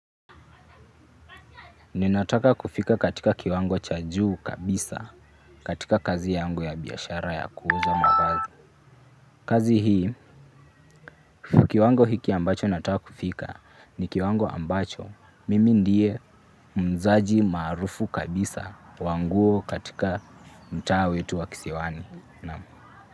Ninataka kufika katika kiwango cha juu kabisa katika kazi yangu ya biashara ya kuuza mavazi kazi hii, kiwango hiki ambacho nataka kufika ni kiwango ambacho mimi ndiye muuzaji maarufu kabisa wa nguo katika mtaa wetu wa Kisiwani.